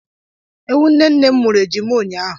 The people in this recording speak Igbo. Ewu nne nne m mụrụ ejima ụnyaahụ.